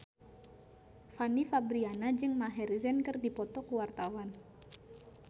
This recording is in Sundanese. Fanny Fabriana jeung Maher Zein keur dipoto ku wartawan